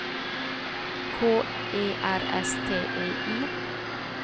K E R S T I